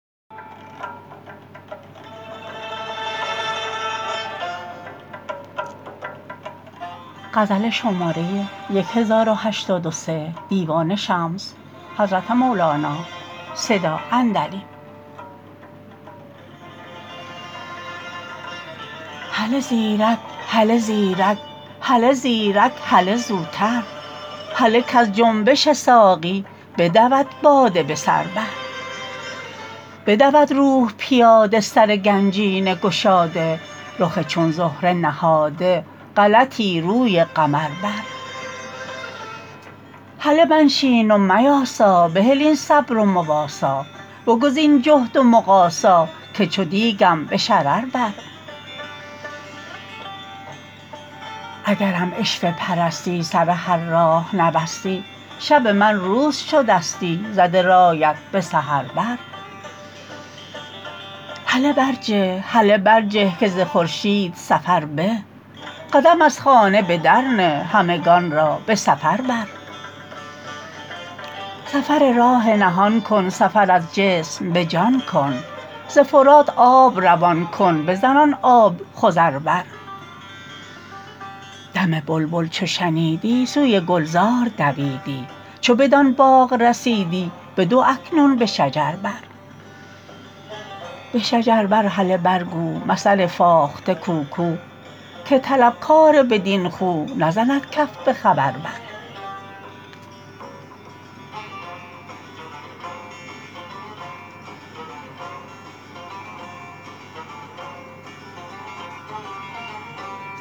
هله زیرک هله زیرک هله زیرک هله زوتر هله کز جنبش ساقی بدود باده به سر بر بدود روح پیاده سر گنجینه گشاده رخ چون زهره نهاده غلطی روی قمر بر هله منشین و میاسا بهل این صبر و مواسا بگزین جهد و مقاسا که چو دیکم به شرر بر اگرم عشوه پرستی سر هر راه نبستی شب من روز شدستی زده رایت به سحر بر هله برجه هله برجه که ز خورشید سفر به قدم از خانه به در نه همگان را به سفر بر سفر راه نهان کن سفر از جسم به جان کن ز فرات آب روان کن بزن آن آب خضر بر دم بلبل چو شنیدی سوی گلزار دویدی چو بدان باغ رسیدی بدو اکنون به شجر بر به شجر بر هله برگو مثل فاخته کوکو که طلبکار بدین خو نزند کف به خبر بر